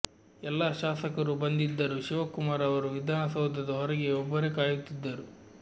ಎಲ್ಲ ಶಾಸಕರೂ ಬಂದಿದ್ದರೂ ಶಿವಕುಮಾರ್ ಅವರು ವಿಧಾನಸೌಧದ ಹೊರಗೆ ಒಬ್ಬರೇ ಕಾಯುತ್ತಿದ್ದರು